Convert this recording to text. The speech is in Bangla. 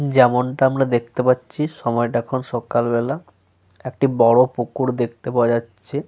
যেমনটা আমরা দেখতে পাচ্ছি সময়টা এখন সকাল বেলা। একটি বড় পুকুর দেখতে পাওয়া যাচ্ছে।